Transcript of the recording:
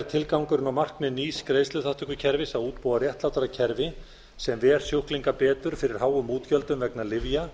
tilgangurinn og markmið nýs greiðsluþátttökukerfis að útbúa réttlátara kerfi sem ver sjúklinga betur fyrir háum útgjöldum vegna lyfja